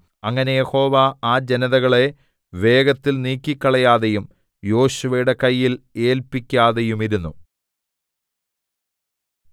അങ്ങനെ യഹോവ ആ ജനതകളെ വേഗത്തിൽ നീക്കിക്കളയാതെയും യോശുവയുടെ കയ്യിൽ ഏല്പിക്കാതെയുമിരുന്നു